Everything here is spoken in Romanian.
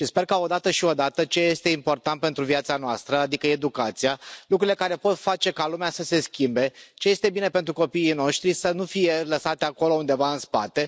Sper ca, odată și odată, ce este important pentru viața noastră adică educația, lucrurile care pot face ca lumea să se schimbe, ce este bine pentru copiii noștri să nu fie lăsate acolo, undeva în spate.